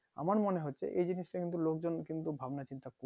আমার মনে হচ্ছে এই জিনিসটা লোক জন কিন্তু ভাবনা চিন্তা করছে